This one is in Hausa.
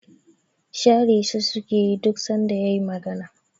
Share shi sukeyi duk sanda yayi magana